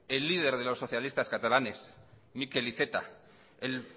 el líder de los socialistas catalanes miquel iceta el